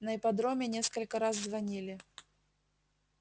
на ипподроме несколько раз звонили